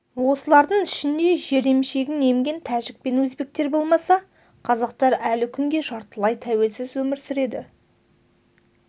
осылардың ішінде жер емшегін емген тәжік пен өзбектер болмаса қазақтар әлі күнге жартылай тәуелсіз өмір сүреді